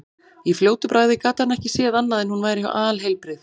Í fljótu bragði gat hann ekki séð annað en hún væri alheilbrigð.